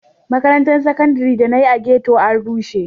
Makarantar Saƙandare da na yi a ghetto an rushe.